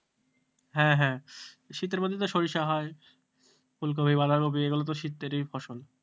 হ্যাঁ হ্যাঁ শীতের মধ্যে তো সরিষা হয় ফুলকপি বাঁধাকপি এগুলো তো শীতেরই ফসল,